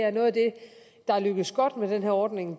er noget af det der er lykkedes godt med den her ordning